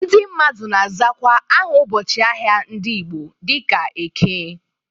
Ndị mmadụ na-azakwa aha ụbọchị ahịa ndị Igbo dịka Eke.